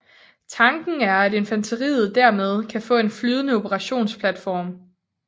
Tanken er at infanteriet dermed kan få en flydende operationsplatform